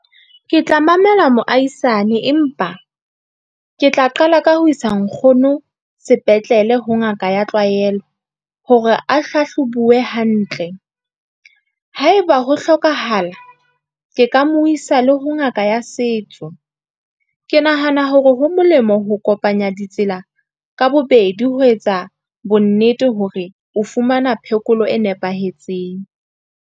Ke tla mamela moahisane, empa ke tla qala ka ho isa nkgono sepetlele ho ngaka ya tlwaelo hore a hlahlobuwe hantle, haeba ho hlokahala ke ka mo isa le ho ngaka ya setso. Ke nahana hore ho molemo ho kopanya ditsela ka bobedi ho etsa bonnete hore o fumana phekolo e nepahetseng.